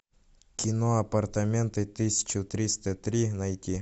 кино апартаменты тысяча триста три найти